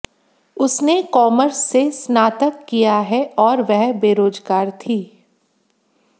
उसने कॉर्मस से स्नातक किया है और वह बेरोजगार थी